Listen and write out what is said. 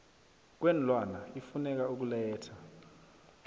kweenlwana ifuneka ukuletha